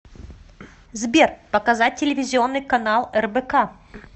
сбер показать телевизионный канал рбк